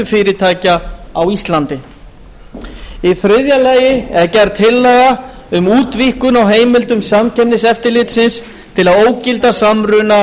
fyrirtækja á íslandi í þriðja lagi er gerð tillaga um útvíkkun á heimildum samkeppniseftirlitsins til að ógilda samruna